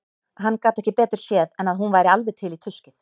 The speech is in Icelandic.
Hann gat ekki betur séð en að hún væri alveg til í tuskið.